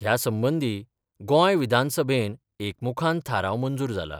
ह्या संबंधी गोंय विधानसभेन एकमुखान थाराव मंजुर जाला.